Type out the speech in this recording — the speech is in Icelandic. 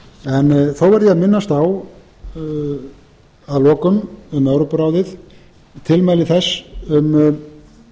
en þó verð ég að minnast á að lokum um evrópuráðið tilmæli þess um